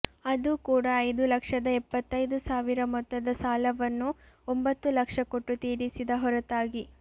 ಅದೂ ಕೂಡ ಐದು ಲಕ್ಷದ ಎಪ್ಪತ್ತೈದು ಸಾವಿರ ಮೊತ್ತದ ಸಾಲವನ್ನು ಒಂಭತ್ತು ಲಕ್ಷ ಕೊಟ್ಟು ತೀರಿಸಿದ ಹೊರತಾಗಿ